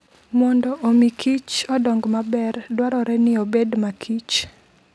Mondo omi Kich odong maber, dwarore ni obed makichr.